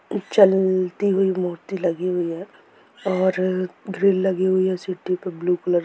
जल..ती हुई मूर्ति लगी हुई हैऔर ग्रिल लगी हुई है सिटी पे ब्लू कलर --